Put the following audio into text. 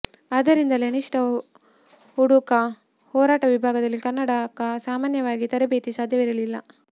ಆದ್ದರಿಂದ ಅನಿಷ್ಟ ಹುಡುಗ ಹೋರಾಟ ವಿಭಾಗದಲ್ಲಿ ಕನ್ನಡಕ ಸಾಮಾನ್ಯವಾಗಿ ತರಬೇತಿ ಸಾಧ್ಯವಿರಲಿಲ್ಲ